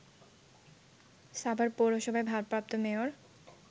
সাভার পৌরসভার ভারপ্রাপ্ত মেয়র